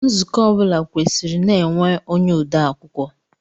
Nzukọ ọ bụla kwesiri na-enwe onye odeakwụkwọ.